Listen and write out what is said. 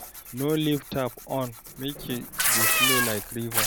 No leave tap on make e dey flow like river